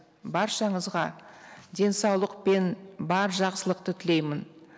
баршаңызға денсаулық пен бар жақсылықты тілеймін